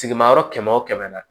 Sigimayɔrɔ kɛmɛ o kɛmɛ na